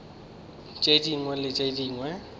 tše dingwe le tše dingwe